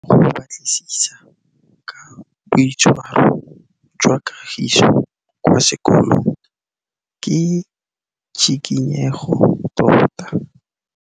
Go batlisisa ka boitshwaro jwa Kagiso kwa sekolong ke tshikinyêgô tota.